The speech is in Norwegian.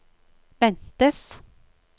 ventes